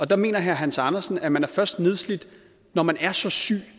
der mener herre hans andersen at man først er nedslidt når man er så syg